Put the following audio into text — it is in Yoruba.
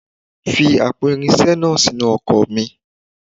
Fi àpò irinṣẹ́ iná sínú ọkọ̀ mi.